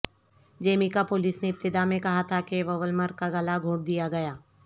Jamaica police نے ابتدا میں کہا تھا کہ وولمر کا گلا گھونٹ دیا گیا